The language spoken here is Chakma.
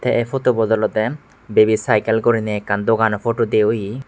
te ai photo bot olode baby cycle gurine ekkan dogano photo de oye.